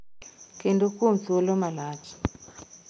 Kendo kuom thuolo malach.